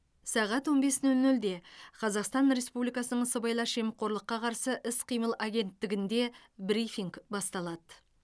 сағат он бес нөл нөлде қазақстан республикасының сыбайлас жемқорлыққа қарсы іс қимыл агенттігінде брифинг басталады